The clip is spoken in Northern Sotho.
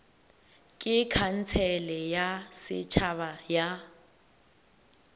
ke khansele ya setšhaba ya